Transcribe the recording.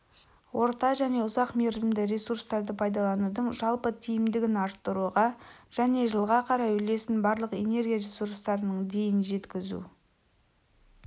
орта-және ұзақ мерзімді ресурстарды пайдаланудың жалпы тиімдігін арттыруға және жылға қарай үлесін барлық энергия ресурстарының дейін жеткізу